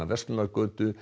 verslunargötu